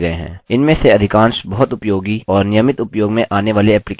इनमें से अधिकांश बहुत उपयोगी और नियमित उपयोग में आने वाले एप्लीकेशन के लिए अनुकूल हैं